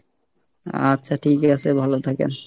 আচ্ছা ঠিক আছে ভালো থাকেন।